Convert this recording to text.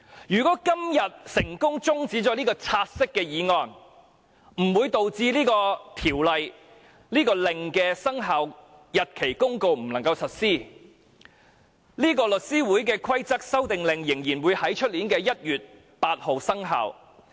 如果今天成功將"察悉議案"的辯論中止待續，不會導致相關的附屬法例及《公告》不能實施，《公告》仍會在明年1月8日生效。